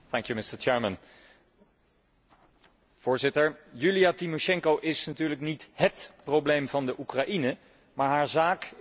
Voorzitter, Joelia Timosjenko is natuurlijk niet hét probleem van Oekraïne, maar haar zaak is wel tekenend voor de politieke situatie.